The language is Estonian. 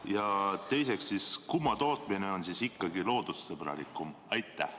Ja teiseks, kumma tootmine on ikkagi loodussõbralikum?